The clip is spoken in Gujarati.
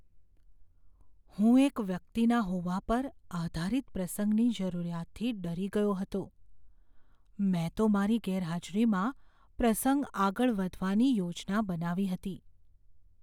હું એક વ્યક્તિના હોવા પર આધારિત પ્રસંગની જરૂરિયાતથી ડરી ગયો હતો, મેં તો મારી ગેરહાજરીમાં પ્રસંગ આગળ વધવાની યોજના બનાવી હતી.